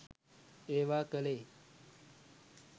ඒවා කළේ